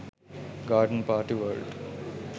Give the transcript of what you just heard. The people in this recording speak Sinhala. garden party world